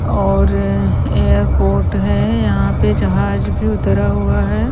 और एयरपोर्ट है यहां पे जहाज भी उतरा हुआ है।